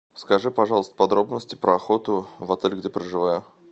скажи пожалуйста подробности про охоту в отеле где проживаю